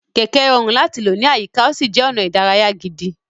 Kẹ̀kẹ́ rọrùn láti lò ní àyíká, ó sì jẹ́ ọ̀nà ìdárayá gidi.